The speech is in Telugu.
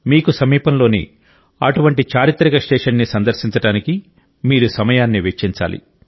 మీకు సమీపంలోని అటువంటి చారిత్రక స్టేషన్ని సందర్శించడానికి మీరు సమయాన్ని వెచ్చించాలి